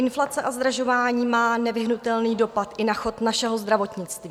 Inflace a zdražování má nevyhnutelný dopad i na chod našeho zdravotnictví.